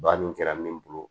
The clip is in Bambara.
Banni kɛra min bolo